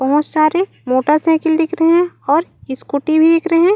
बहोत सारे मोटरसाइकिल दिख रहे है और स्कूटी भी दिख रहे है।